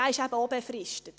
Auch dieser ist befristet.